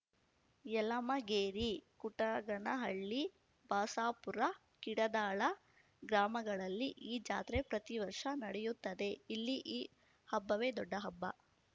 ಯಲಮಗೇರಿ ಕುಟಗನಹಳ್ಳಿ ಬಸಾಪೂರ ಕಿಡದಾಳ ಗ್ರಾಮಗಳಲ್ಲಿ ಈ ಜಾತ್ರೆ ಪ್ರತಿ ವರ್ಷ ನಡೆಯುತ್ತದೆ ಇಲ್ಲಿ ಈ ಹಬ್ಬವೇ ದೊಡ್ಡ ಹಬ್ಬ